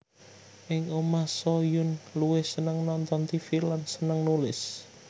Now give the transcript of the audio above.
Ing omah Soo Hyun luwih seneng nonton tv lan seneng nulis